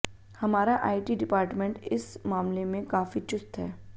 हमारा IT department इस मामले में काफी चुस्त है